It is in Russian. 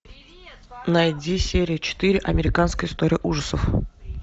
найди серию четыре американская история ужасов